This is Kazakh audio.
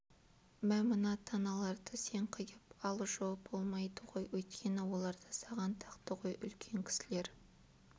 мә мына таналарды сен қиып ал жо болмайды ғой өйткені оларды саған тақты ғой үлкен кісілер